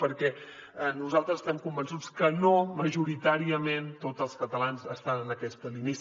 perquè nosaltres estem convençuts que no majoritàriament tots els catalans estan en aquesta línia